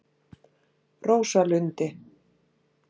Rósalundi